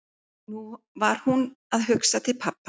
Nú var hún að hugsa til pabba.